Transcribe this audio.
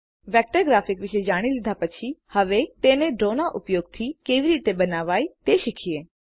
vector graphic વિશે જાણી લીધા પછી હવે તે ડ્રોના ઉપયોગથી કેવી રીતે બનાવાય તે શીખીએ